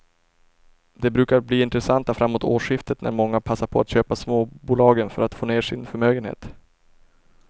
De brukar bli intressanta framåt årsskiftet när många passar på att köpa småbolagen för att få ner sin förmögenhet.